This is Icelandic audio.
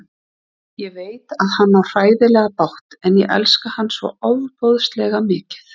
Ég veit að hann á hræðilega bágt en ég elska hann svo ofboðslega mikið.